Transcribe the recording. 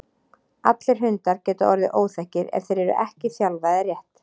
Allir hundar geta orðið óþekkir ef þeir eru ekki þjálfaðir rétt.